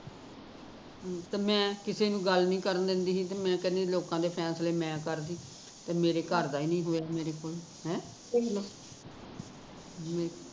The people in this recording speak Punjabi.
ਤੇ ਮੈਂ ਕਿਸੀ ਨੂ ਗੱਲ ਨੀ ਕਰਨ ਦਿੰਦੀ ਤੇ ਮੈਂ ਕਹਿੰਦੀ ਲੋਕਾਂ ਦੇ ਫੈਸਲੇ ਮੈਂ ਕਰਦੀ ਤੇ ਮੇਰੇ ਘਰ ਦਾ ਈ ਨੀ ਹੋਇਆ ਮੇਰੇ ਕੋਲੋਂ ਹੈਂ